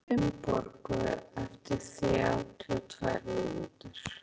Harri, hringdu í Finnborgu eftir þrjátíu og tvær mínútur.